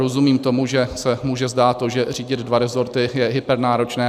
Rozumím tomu, že se může zdát to, že řídit dva resorty je hypernáročné.